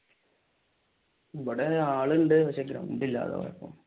ഇവിടെ ആളുണ്ട് പക്ഷെ ഗ്രൗണ്ട് ഇല്ല അതാ കൊഴപ്പം.